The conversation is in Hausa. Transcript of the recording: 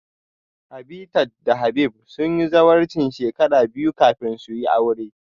Habitat da Habib sun yi zawarcin shekara biyu kafin su yi aure